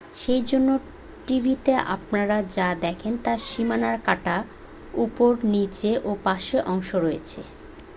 সেজন্য টিভিতে আপনারা যা দেখেন তার সীমানা কাটা উপর নিচে ও পাশের অংশ রয়েছে